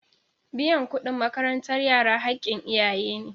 Biyan kuɗin makarantar yara haƙƙin iyaye ne.